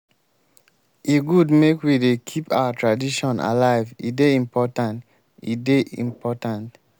e good make we dey keep our tradition alive e dey important. e dey important.